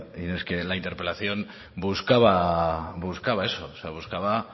y no es que la interpelación buscaba buscaba eso buscaba